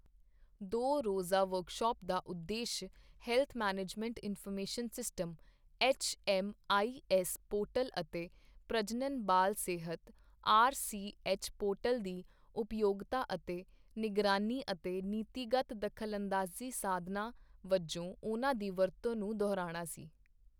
ਦੋ ਰੋਜ਼ਾ ਵਰਕਸ਼ਾਪ ਦਾ ਉਦੇਸ਼ health management information system HMIS portal ਅਤੇ ਪ੍ਰਜਣਨ ਬਾਲ ਸਿਹਤ ਆਰਸੀਐਚ ਪੋਰਟਲ ਦੀ ਉਪਯੋਗਤਾ ਅਤੇ ਨਿਗਰਾਨੀ ਅਤੇ ਨੀਤੀਗਤ ਦਖਲਅੰਦਾਜ਼ੀ ਸਾਧਨਾਂ ਵਜੋਂ ਉਹਨਾਂ ਦੀ ਵਰਤੋਂ ਨੂੰ ਦੁਹਰਾਉਣਾ ਸੀ।